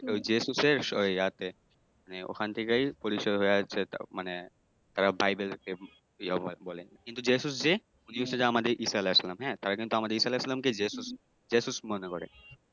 ঐ যেসুসের ইয়াতে ওখান থেকে পরিচয় হইয়া মানে তারা বাইবেলকে ইয়া বলে কিন্তু যেসুস যে উনি হচ্ছে আমাদের ঈসা আলাইসাল্লাম। তারা কিন্তু ঈসা আলাইসাল্লাম কেই যেসুস মনে করে